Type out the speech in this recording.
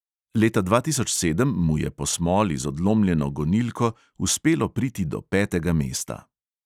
Leta dva tisoč sedem mu je po smoli z odlomljeno gonilko uspelo priti do petega mesta.